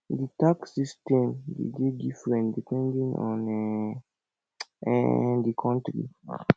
di tax system de dey different depending on um um di country